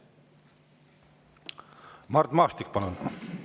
Mart Maastik, palun!